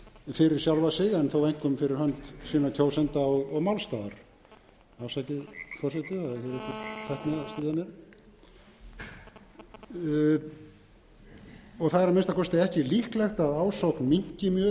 fyrir sjálfa sig en þó einkum fyrir hönd sinna kjósenda og málstaðar afsakið forseti það er einhver tækni að stríða mér það er að minnsta kosti ekki líklegt að ásókn minnki mjög í þessi störf þó þessar álagsgreiðslur yrðu